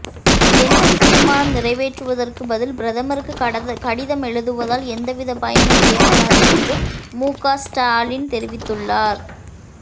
என்றும் தீர்மானம் நிறைவேற்றுவதற்கு பதில் பிரதமருக்கு கடிதம் எழுதுவதால் எந்தவிதப் பயனும் ஏற்படாது என்றும் முக ஸ்டாலின் தெரிவித்துள்ளார்